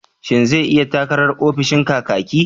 Shin zai yi takarar ofishin Kakaki?